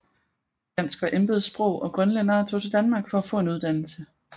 Dansk var embedssprog og grønlændere tog til Danmark for at få en uddannelse